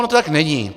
Ono to tak není.